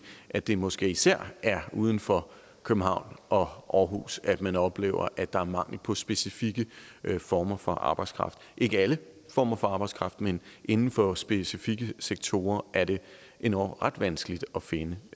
at det måske især er uden for københavn og aarhus at man oplever at der er mangel på specifikke former for arbejdskraft ikke alle former for arbejdskraft men inden for specifikke sektorer er det endog ret vanskeligt at finde